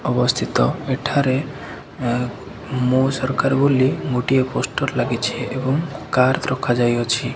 ଅବସ୍ଥିତ ଏଠାରେ ମୋ ସରକାର ବୋଲି ଗୋଟିଏ ପୋଷ୍ଟର ଲାଗିଛି ଏବଂ କାର ରଖାଯାଇଅଛି।